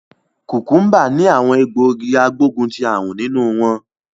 Kukumba ni awon egbogi agboguntiarun ninu won